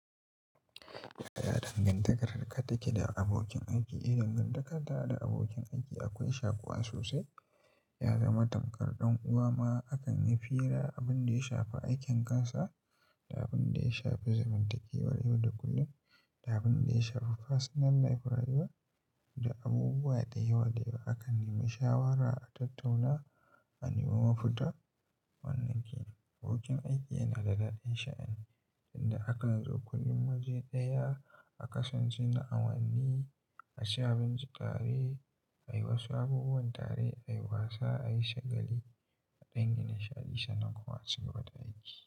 Ya danganta harka take da abokin aiki. Eh dangantakanta da abokin aiki akwai shakuwa sosai, ya zama tamkar ɗan uwa ma. Akan yi fira, abin da ya shafi aikin kansa da abin da ya shafi zamantakewar yau da kullum da abin da ya shafi personal life rayuwa da abubuwa da yawa, da yawa. Akan nemi shawara, a tattauna, a nemo mafita. Wannan kenan abokin aiki yana da daɗin sha'ani inda akan zo kullum waje ɗaya aka sance na awanni, aci abinci tare, ayi wasu abubuwan tare, ayi wasa, ayi shagali a dangin nishaɗi sannan kuma a cigaba da aiki.